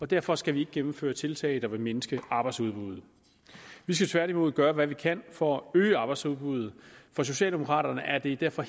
derfor skal vi ikke gennemføre tiltag der vil mindske arbejdsudbuddet vi skal tværtimod gøre hvad vi kan for at øge arbejdsudbuddet for socialdemokraterne er det derfor